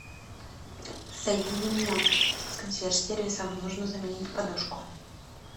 соедини меня с консьерж сервисом нужно заменить подушку